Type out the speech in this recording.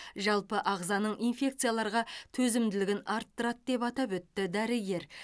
жалпы ағзаның инфекцияларға төзімділігін арттырады деп атап өтті дәрігер